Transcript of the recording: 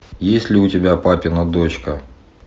есть ли у тебя папина дочка